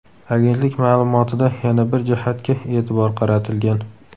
Agentlik ma’lumotida yana bir jihatga e’tibor qaratilgan.